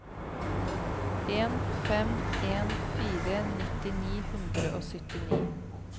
en fem en fire nitti ni hundre og syttini